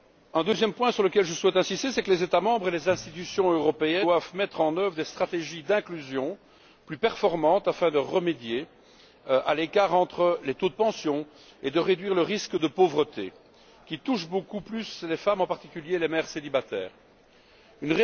Le deuxième point sur lequel je souhaite insister, c'est que les États membres et les institutions européennes doivent mettre en œuvre des stratégies d'inclusion plus performantes afin de remédier à l'écart entre les taux de pension et de réduire le risque de pauvreté qui touche beaucoup plus les femmes, et les mères célibataires en particulier.